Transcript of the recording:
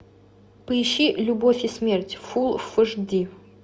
поищи любовь и смерть фул фш ди